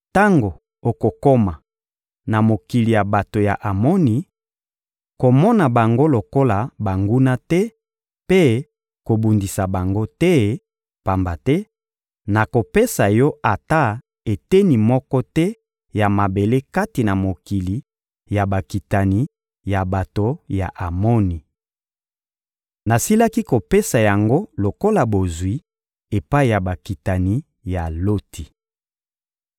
Tango okokoma na mokili ya bato ya Amoni, komona bango lokola banguna te mpe kobundisa bango te, pamba te nakopesa yo ata eteni moko te ya mabele kati na mokili ya bakitani ya bato ya Amoni. Nasilaki kopesa yango lokola bozwi epai ya bakitani ya Loti.»